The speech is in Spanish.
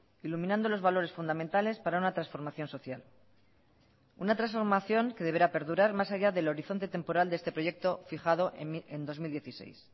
iluminando los valores fundamentales para una transformación social una transformación que deberá perdurar más allá del horizonte temporal de este proyecto fijado en dos mil dieciséis